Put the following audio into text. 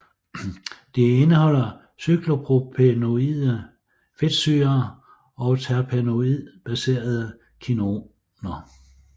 De indeholder cyklopropenoide fedtsyrer og terpenoidbaserede kinoner